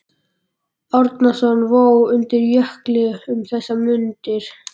Árnason vó undir Jökli um þessar mundir.